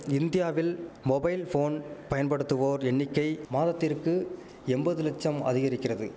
இந்தியாவில் mobile phone பயன்படுத்துவோர் எண்ணிக்கை மாதத்திற்கு எம்பது லட்சம் அதிகரிக்கிறது